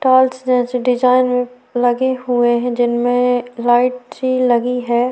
Tiles जैसी design लगे हुए हैं जिनमें लाइट भी लगी है।